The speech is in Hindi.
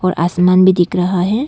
आसमान भी दिख रहा है।